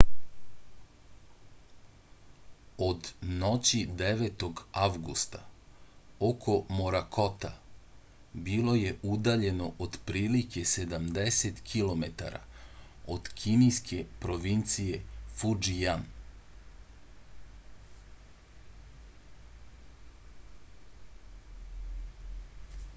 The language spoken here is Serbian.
od noći 9. avgusta oko morakota bilo je udaljeno otprilike sedamdeset kilometara od kineske provincije fudžijan